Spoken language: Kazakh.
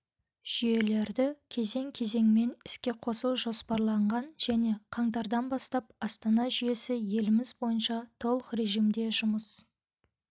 жүйелерді кезең-кезеңмен іске қосу жоспарланған және қаңтардан бастап астана жүйесі еліміз бойынша толық режимде жұмыс